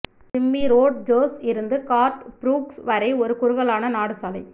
Jimmy Rodgers இருந்து Garth Brooks வரை ஒரு குறுகலான நாடு சாலை